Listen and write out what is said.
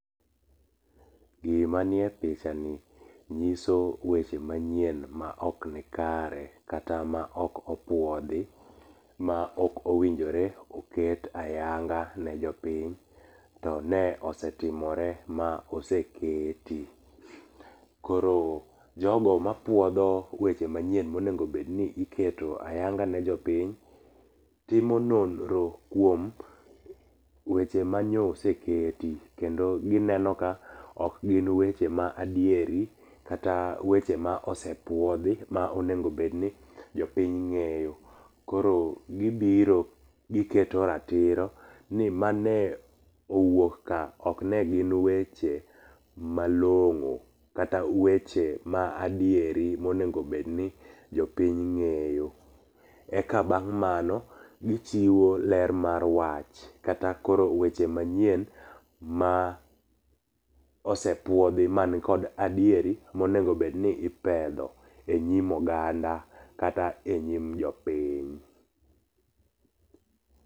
Gima nie pichani nyiso weche manyien maok nikare. Kata maok opuodhi kata maok owinjore oket ayanga ne jopiny to ne osetimore ma oseketi. Koro jogo mapuodho weche manyien monego bed ni iketo ayanga ni jo piny timo nonro kuom weche manyo oseketi kendo gineno ka ok gin weche ma adieri kata wechwe ma osepuodhi ma onego bedni jopiny ng'eyo koro gibiro giketo ratiro ni mane owuok ka, ok ne gin weche malong'o, kata weche ma adieri monego bedni jopiny ng'eyo. Eka bang' mano gichiwo ler mar wach kata koro weche manyien ma ose puodhi man kod adieri monego bed ni ipedho enyim oganda kata enyim jopiny.